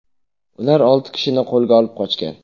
Ular olti kishini qo‘lga olib, qochgan.